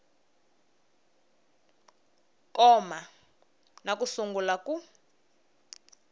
koma na ku sungula ku